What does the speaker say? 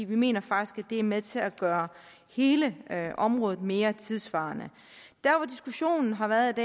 vi mener faktisk at det er med til at gøre hele området mere tidssvarende der hvor diskussionen har været